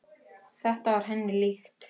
Þetta var henni líkt.